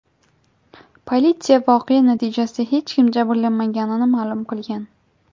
Politsiya voqea natijasida hech kim jabrlanmaganini ma’lum qilgan.